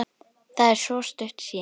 Það er svo stutt síðan.